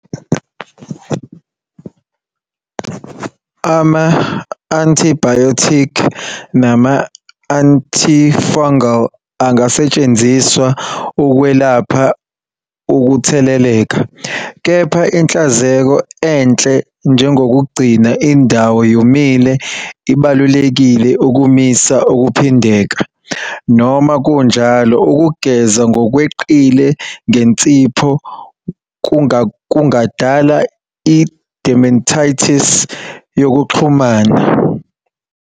Ama-antibiotic nama-antifungal angasetshenziswa ukwelapha ukutheleleka, kepha inhlanzeko enhle njengokugcina indawo yomile ibalulekile ukumisa ukuphindeka, noma kunjalo ukugeza ngokweqile ngensipho kungadala i-dermatitis yokuxhumana.